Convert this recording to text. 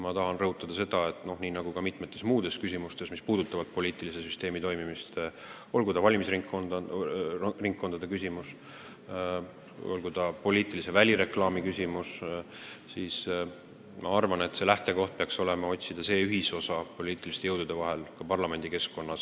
Ma tahan rõhutada, et nii nagu ka paljudes muudes küsimustes, mis puudutavad poliitilise süsteemi toimimist – olgu tegu näiteks valimisringkondade või poliitilise välireklaamiga –, peaks lähtekoht ka selle teema puhul olema püüd otsida ühisosa poliitiliste jõudude vahel ka parlamendi keskkonnas.